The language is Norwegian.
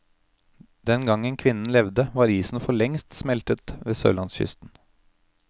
Den gangen kvinnen levde, var isen forlengst smeltet ved sørlandskysten.